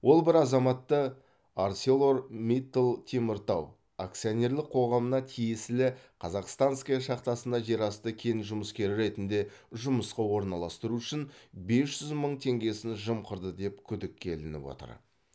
ол бір азаматты арселормиттал теміртау акционерлік қоғамына тиесілі казахстанская шахтасына жерасты кен жұмыскері ретінде жұмысқа орналастыру үшін бес жүз мың теңгесін жымқырды деп күдікке ілініп отыр